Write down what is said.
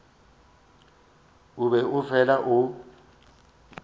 o be o fela o